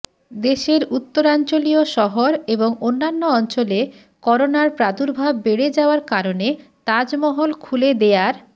দেশের উত্তরাঞ্চলীয় শহর এবং অন্যান্য অঞ্চলে করোনার প্রাদুর্ভাব বেড়ে যাওয়ার কারণে তাজমহল খুলে দেয়ার